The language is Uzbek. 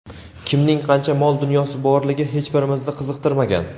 kimning qancha mol-dunyosi borligi hech birimizni qiziqtirmagan.